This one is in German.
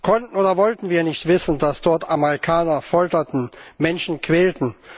Konnten oder wollten wir nicht wissen, dass dort Amerikaner folterten, Menschen quälten?